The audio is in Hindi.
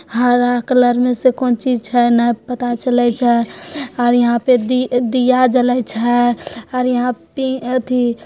हरा कलर में से कौन चीज छे पता न चलय छे और यहाँ पे दि-दिया जले छे और यहाँ पे पि एथि --